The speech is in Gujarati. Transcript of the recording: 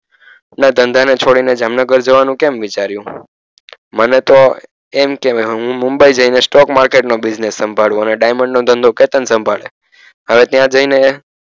ના ધંધાને છોડીને જામનગર જવાનું કેમ વિચાર્યું મને તો એમ કે હવે હું મુંબઈ જઈને stock market નો business સંભાળુ અને diamond નો ધંધો કેતન સંભાળે હવે ત્યાં જઈને એ